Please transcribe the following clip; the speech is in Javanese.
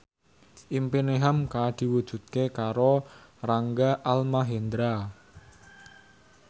impine hamka diwujudke karo Rangga Almahendra